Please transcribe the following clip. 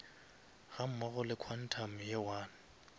gammogo le quantum ye one